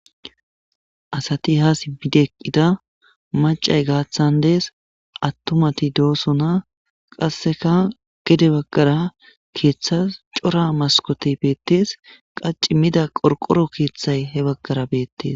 asati ha sibideqqida macay gaaththan dees attomati doosona qasseka gede baggara keeththas cora maskote beettees qacci mida qorqoro keeththay he baggara beettes